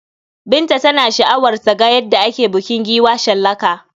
Binta tana sha'awar ta ga yadda ake bukin giwa shallaka.